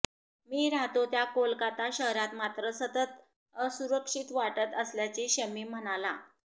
मी राहतो त्या कोलकाता शहरात मात्र सतत असुरक्षित वाटत असल्याचे शमी म्हणाला